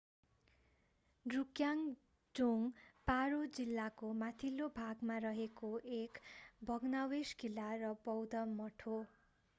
ड्रुकग्याल जोङ्ग पारो जिल्लाको माथिल्लो भाग फोन्डे गाउँमा मा रहेको एक भग्नावशेष किल्ला र बौद्ध मठ हो।